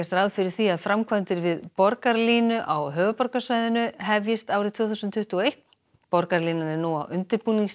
ráð fyrir því að framkvæmdir við borgarlínu á höfuðborgarsvæðinu hefjist árið tvö þúsund tuttugu og eitt borgarlínan er nú á undirbúningsstigi